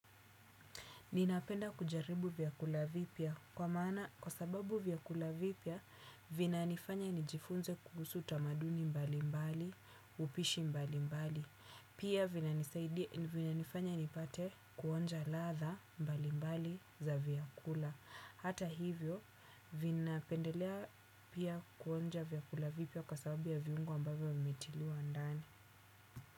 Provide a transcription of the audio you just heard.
Ninapenda kujaribu vyakula vipya kwa maana kwa sababu vyakula vipya vinanifanya nijifunze kuhusu tamaduni mbalimbali upishi mbalimbali pia vinanifanya nipate kuonja ladha mbalimbali za vyakula hata hivyo vinapendelea pia kuonja vyakula vipya kwa sababu ya viungu ambavyo umetiliwa ndani.